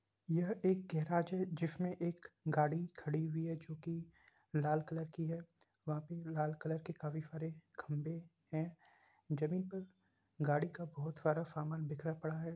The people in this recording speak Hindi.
यह एक गेराज है जिसमे एक गाड़ी खड़ी हुई है जोकि लाल कलर की है वहा पे लाल कलर के काफी सारे खम्भे हैं जमीन पर गाड़ी का बहोत सारा सामान बिखरा पड़ा हैं।